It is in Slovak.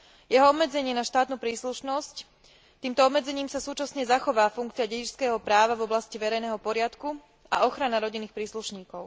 Jeho obmedzenie na štátnu príslušnosť týmto obmedzením sa súčasne zachová funkcia dedičského práva v oblasti verejného poriadku a ochrana rodinných príslušníkov.